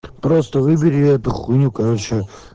просто выбери эту хуйню короче